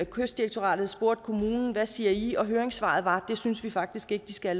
kystdirektoratet spurgte kommunen hvad siger i og høringssvaret var det synes vi faktisk ikke de skal